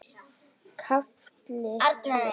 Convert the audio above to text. KAFLI TVÖ